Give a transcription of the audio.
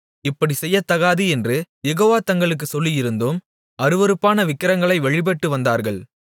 இப்படிச் செய்யத்தகாது என்று யெகோவா தங்களுக்குச் சொல்லியிருந்தும் அருவருப்பான விக்கிரகங்களை வழிபட்டு வந்தார்கள்